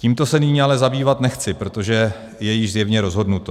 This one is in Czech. Tímto se nyní ale zabývat nechci, protože je již zjevně rozhodnuto.